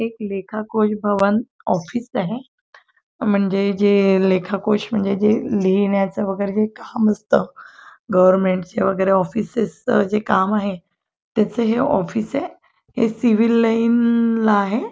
हे एक लेखा कोश भवन ऑफिस आहे म्हणजे जे लेखा कोश म्हणजे जे लिहिण्याच वेगेरे जे काम असत गव्हर्मेंट वेगेरे जे ऑफिस जे काम आहे त्याच हे ऑफिस आहे हे सिव्हिल लाइन ला आहे.